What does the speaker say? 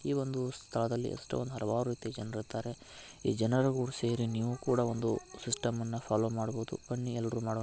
ಈ ಒಂದು ಸ್ಥಳದಲ್ಲಿ ಎಷ್ಟೊಂದು ಹಲವಾರು ರೀತಿಯ ಜನರು ಇರ್ತರೆ. ಈ ಜನರು ಕೂಡ ಸೇರಿ ನೀವು ಕೂಡ ಒಂದು ಸಿಸ್ಟಮ್ ಅನ್ನ ಫಾಲ್ಲೋ ಮಾಡ್ಬೋದು. ಬನ್ನೀ ಎಲ್ರು ಮಾಡೋಣ.